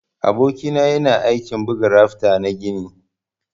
Aboki na yana aiki buga rafta na gini.